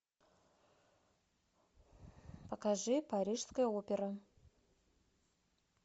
покажи парижская опера